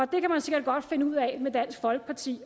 kan man sikkert godt finde ud af at gøre med dansk folkeparti